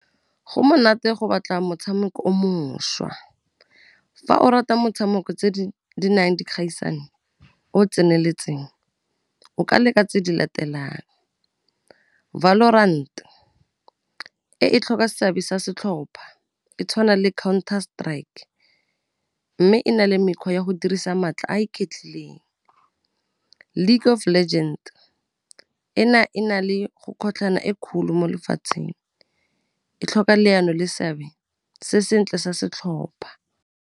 Go monate go batla motshameko o mošwa, fa o rata motshameko tse di nang dikgaisano o o tseneletseng o ka leka tse di latelang, Valorant, e e tlhoka seabe sa setlhopha, e tshwana le Counter-Strike, mme e na le mekgwa ya go dirisa maatla a iketlileng, League of Legends, ena e na le go kgotlhagana e kgolo mo lefatsheng, e tlhoka leano le seabe se sentle sa setlhopha.